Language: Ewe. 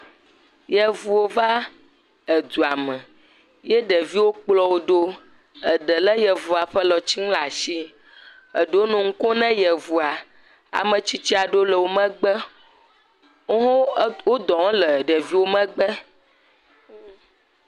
Yevuwo va edua me, ye ɖeviwo ɖo, eɖe lé yevua ƒe alɔtinu ɖe asi, eɖewo nɔ nu kom ne yevua, ametsitsi aɖewo le wo megbe, wo hawo wo dɔ wɔm le ɖeviwo megbe.